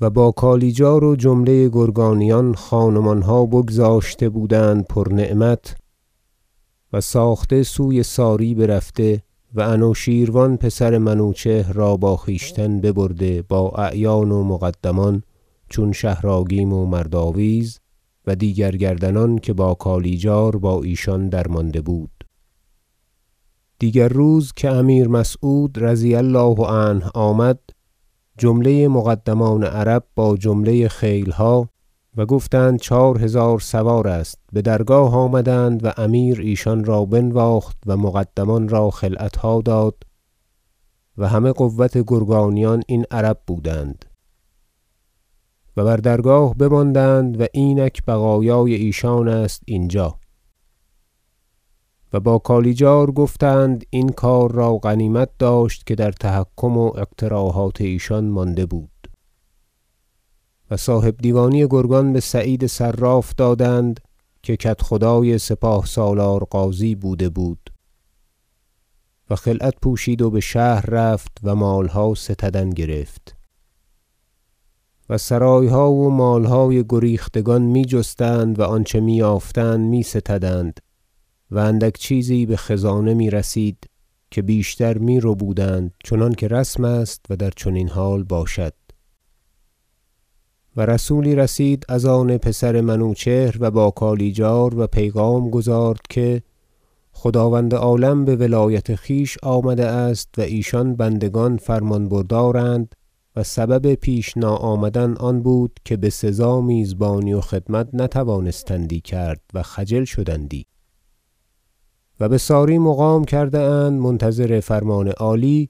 و با کالیجار و جمله گرگانیان خان و مانها بگذاشته بودند پر نعمت و ساخته سوی ساری برفته و انوشیروان پسر منوچهر را با خویشتن ببرده با اعیان و مقدمان چون شهر آگیم و مردآویز و دیگر گردنان که با کالیجار با ایشان درمانده بود دیگر روز که امیر مسعود رضی الله عنه آمد جمله مقدمان عرب با جمله خیلها- و گفتند چهار هزار سوار است- بدرگاه آمدند و امیر ایشان را بنواخت و مقدمان را خلعتها داد و همه قوت گرگانیان این عرب بودند و بر درگاه بماندند و اینک بقایای ایشان است اینجا و با کالیجار گفتند این کار را غنیمت داشت که در تحکم و اقتراحات ایشان مانده بود و صاحب دیوانی گرگان به سعید صراف دادند که کدخدای سپاه سالار غازی بوده بود و خلعت پوشید و بشهر رفت و مالها ستدن گرفت و سرایها و مالهای گریختگان می جستند و آنچه می یافتند می ستدند و اندک چیزی بخزانه میرسید که بیشتر می ربودند چنانکه رسم است و در چنین حال باشد و رسولی رسید از آن پسر منوچهر و با کالیجار و پیغام گزارد که خداوند عالم بولایت خویش آمده است و ایشان بندگان فرمان بردارند و سبب پیش ناآمدن آن بود که بسزا میزبانی و خدمت نتوانستندی کرد و خجل شدندی و بساری مقام کرده اند منتظر فرمان عالی